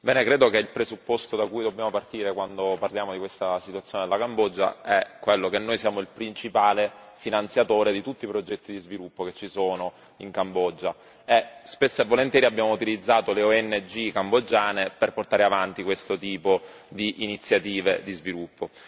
Signor Presidente, onorevoli colleghi, credo che il presupposto da cui dobbiamo partire, quando parliamo della situazione della Cambogia, è quello che noi siamo il principale finanziatore di tutti i progetti di sviluppo in corso in Cambogia e spesso e volentieri abbiamo utilizzato le ONG cambogiane per portare avanti questo tipo di iniziative di sviluppo.